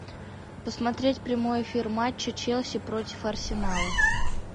посмотреть прямой эфир матча челси против арсенала